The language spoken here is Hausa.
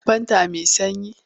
Akwai fanta mai sanyi?